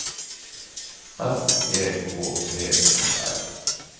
S E K T O R